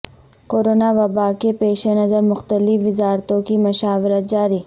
corona و باء کے پیش نظر مختلف وزارتو ں کی مشاورت جاری